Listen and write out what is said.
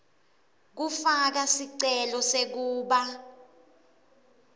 kufaka sicelo sekuba